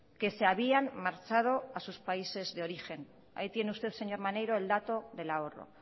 que se habían marchado a sus países de origen ahí tiene usted señor maneiro el dato del ahorro